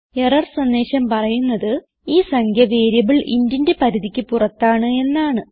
error സന്ദേശം പറയുന്നത് ഈ സംഖ്യ വേരിയബിൾ intന്റെ പരിധിക്ക് പുറത്താണ് എന്നാണ്